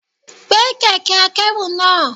Carry the trolley.